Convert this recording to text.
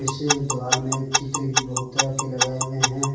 इसी दीवाल में चित्र भी बहुत तरह के लगाए हुए हैं।